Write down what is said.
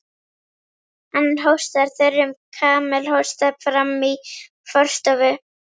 Hann hóstar þurrum kamelhósta frammí forstofu.